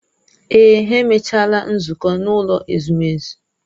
Èè, ha emechaala nzukọ n'ụlọ ezumezu.